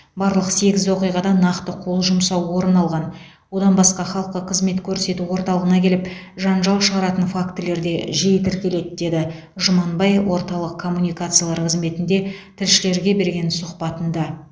барлық сегіз оқиғада нақты қол жұмсау орын алған одан басқа халыққа қызмет көрсету орталығына келіп жанжал шығаратын фактілер де жиі тіркеледі деді жұманбай орталық коммуникациялар қызметінде тілшілерге берген сұхбатында